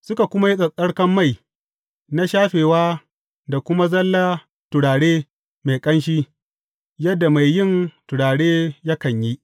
Suka kuma yi tsattsarkan mai na shafewa da kuma zalla turare mai ƙanshi, yadda mai yin turare yakan yi.